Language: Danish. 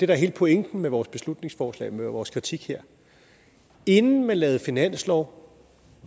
er hele pointen med vores beslutningsforslag og med vores kritik her inden man lavede finanslov